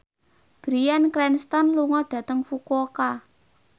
Bryan Cranston lunga dhateng Fukuoka